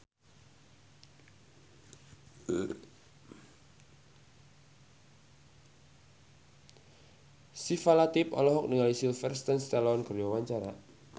Syifa Latief olohok ningali Sylvester Stallone keur diwawancara